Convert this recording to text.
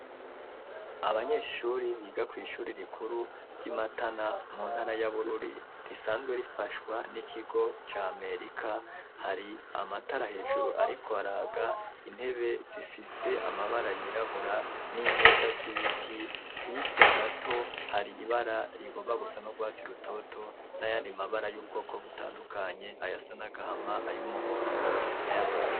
Abanyeshuri biga kwishuri rikuru ryi Matana mu ntara ya Bururi risanzwe rifashwa n'ikigo ca Amerika, hari amatara hejuru ariko araga intebe zifise amabara yirabura n'imeza z'ibiti, hirya gato hari ibara rigomba gusa nurwatsi rutoto n'ayandi mabara y'ubwoko butandukanye ayasana gahama ,ayumuhondo n'a yatukura.